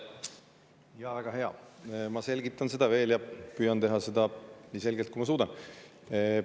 Jaa, väga hea, ma selgitan veel ja püüan teha seda nii selgelt, kui ma suudan.